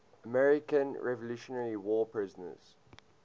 american revolutionary war prisoners